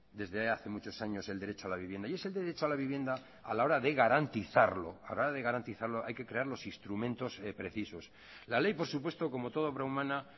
desde hace muchos años el derecho a la vivienda y ese derecho a la vivienda a la hora de garantizarlo hay que crear los instrumentos precisos la ley por supuesto como toda obra humana